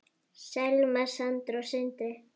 Selma, Sandra og Sindri.